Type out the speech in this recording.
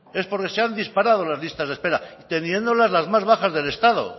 es porque se han disparado las listas de espera y teniéndolas las más bajas del estado